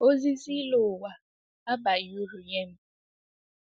Ozizi ịlọ ụwa abaghị uru nye m.